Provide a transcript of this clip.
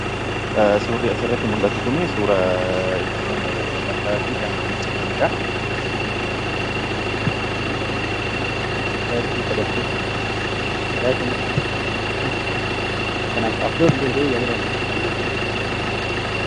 Surri as irratti mul'atu kun, suuraa ittiin mataafi dhaqna miiccataniidha.